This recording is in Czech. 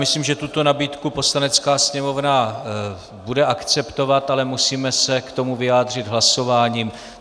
Myslím, že tuto nabídku Poslanecká sněmovna bude akceptovat, ale musíme se k tomu vyjádřit hlasováním.